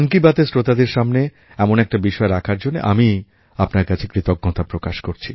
এর শ্রোতাদের সামনে এমন একটা বিষয় রাখার জন্য আমি আপনার কাছে কৃতজ্ঞতা প্রকাশ করছি